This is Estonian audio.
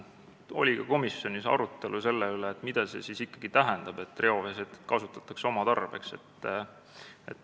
Komisjonis oli ka arutelu selle üle, mida see siis ikkagi tähendab, et reoveesetet kasutatakse oma tarbeks.